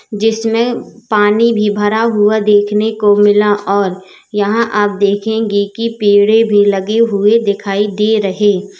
जिसमें पानी भी भरा हुआ देखने को मिला और यहां आप देखेंगे की पेड़ें भी लगे हुए दिखाई दे रहे --